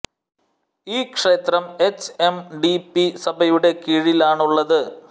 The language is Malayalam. ഈ ക്ഷേത്രം എച് എം ഡി പി സഭയുടെ കീഴിലാണുള്ളത്